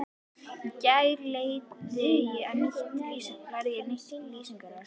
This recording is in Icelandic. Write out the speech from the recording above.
Í gær lærði ég nýtt lýsingarorð.